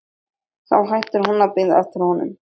Þá hættir hún að bíða eftir honum.